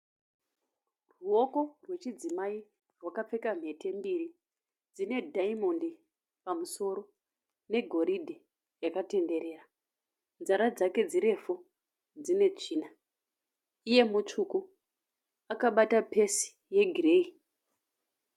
Ruoko rwechidzimai rwakapfeka mhete mbiri dzine diamond pamusoro negoridhe yakatenderera nzara dzake dzirefu dzine tsvina iye mutsvuku akabata pesi yegireyi.